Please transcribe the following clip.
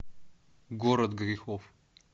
город грехов